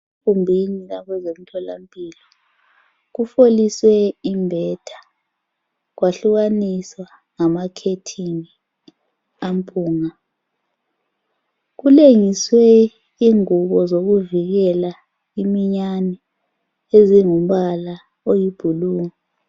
Egumbini labezemtholampilo kufoliswe imbetha, kwahlukaniswa ngamakhetheni ampunga. Kulengiswe ingubozokuvikela iminyane ezingumbala oyibhulu.